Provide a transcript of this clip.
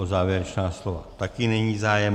O závěrečná slova taky není zájem.